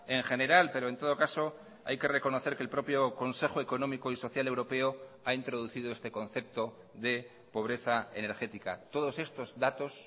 en general pero en todo caso hay que reconocer que el propio consejo económico y social europeo ha introducido este concepto de pobreza energética todos estos datos